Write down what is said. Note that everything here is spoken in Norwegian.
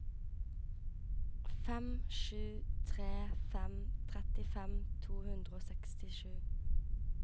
fem sju tre fem trettifem to hundre og sekstisju